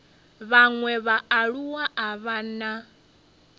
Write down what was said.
vhaṅwe vhaaluwa a vha na